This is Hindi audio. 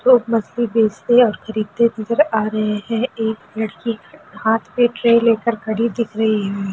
लोग मछली बेचते और खरीदते नजर आ रहे है एक लड़की हाथ पे ट्रे लेकर खड़ी दिख रही है।